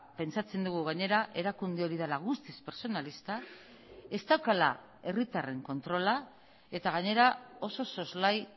pentsatzen dugu gainera erakunde hori dela guztiz pertsonalista ez daukala herritarren kontrola eta gainera oso soslai